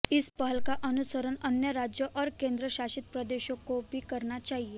इस पहल का अनुसरण अन्य राज्यों और केन्द्र शासित प्रदेशों को भी करना चाहिए